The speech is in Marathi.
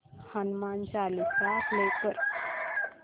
हनुमान चालीसा प्ले कर